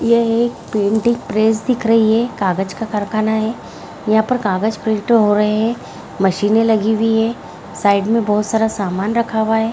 यह एक printing press दिख रही है कागज़ का कारखाना है यहाँ पर कागज़ प्रिंट हो रहे हैं मशीनें लगी हुई हैं साइड में बहोत सारा सामान रखा हुआ है।